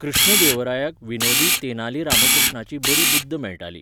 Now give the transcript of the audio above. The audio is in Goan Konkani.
कृष्णदेवरायाक विनोदी तेनाली रामकृष्णाची बरी बुद्द मेळटाली.